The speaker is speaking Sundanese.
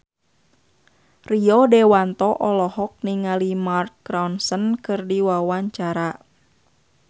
Rio Dewanto olohok ningali Mark Ronson keur diwawancara